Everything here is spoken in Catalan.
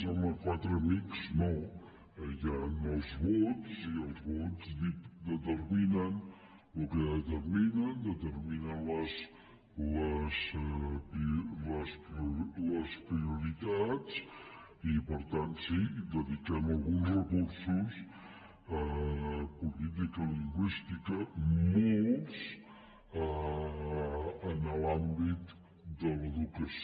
home quatre amics no hi han els vots i els vots determinen el que determinen determinen les prioritats i per tant sí dediquem alguns recursos a política lingüística molts en l’àmbit de l’educació